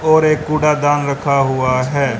और एक कूड़ा दान रखा हुआ है।